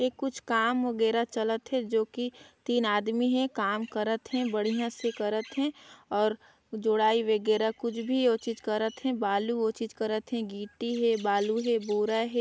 ये कुछ काम वगैरह चलत हे जो की तीन आदमी हे काम करत हे बढ़िया से करत हे और जुड़ाई वगैरह कुछ भी ओ चीज करत हे बालू ओ चीज करत हे गिट्टी हे बालू हे बोरा हे ।